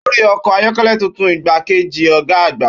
Ó rí ọkọ̀ ayọ́kẹ́lẹ́ tuntun igbákejì ọ̀gá àgbà.